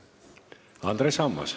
Andres Ammas.